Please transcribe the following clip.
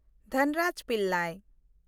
Dhanraj Pillay